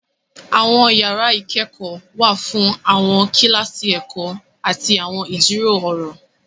Àwọn yàrà ikẹkọ wà fún awọn kilasi ẹkọ ati awọn ijiro ọrọ.